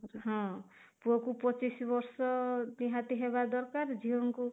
ହଁ, ପୁଅ କୁ ପଚିଶ ବର୍ଷ ନିହାତି ହେବା ଦରକାର, ଝିଅଙ୍କୁ